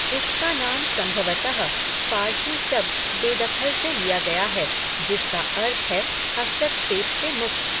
इसका नाम संभवतः फ़ारसी शब्द बेदखल से लिया गया है, जिसका अर्थ है हस्तक्षेप से मुक्त।